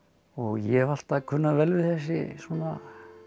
ég hef alltaf kunnað vel við þessi svona